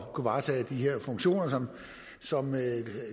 at kunne varetage de her funktioner som som